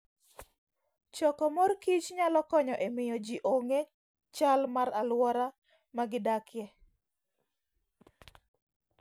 Choko mor kich nyalo konyo e miyo ji ong'e chal mar alwora ma gidakie.